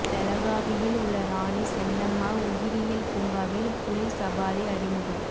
பெலகாவியில் உள்ள ராணி சென்னம்மா உயிரியல் பூங்காவில் புலி சபாரி அறிமுகம்